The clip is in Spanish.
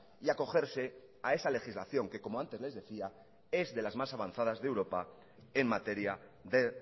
y acogerse a esa legislación que como antes les decía es de las más avanzadas de europa en materia de